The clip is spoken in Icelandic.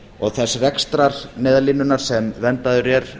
og þess rekstrar neyðarlínunnar sem verndaður er